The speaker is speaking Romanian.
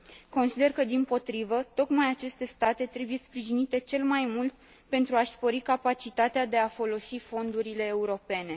Consider că, dimpotrivă, tocmai aceste state trebuie sprijinite cel mai mult pentru a și spori capacitatea de a folosi fondurile europene.